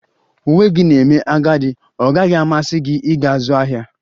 Uwe gị na-eme agadi, ọ gaghị amasị gị ịga ịzụ ahịa?